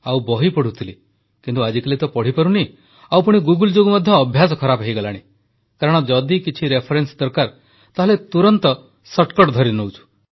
ଆଉ ବହି ପଢ଼ୁଥିଲି କିନ୍ତୁ ଆଜିକାଲି ତ ପଢ଼ିପାରୁନାହିଁ ଆଉ ପୁଣି ଗୁଗଲ ଯୋଗୁଁ ମଧ୍ୟ ଅଭ୍ୟାସ ଖରାପ ହୋଇଗଲାଣି କାରଣ ଯଦି କିଛି ରେଫରେନ୍ସ ଦରକାର ତାହାଲେ ତୁରନ୍ତ ସର୍ଟକଟ ଧରିନେଉଛୁ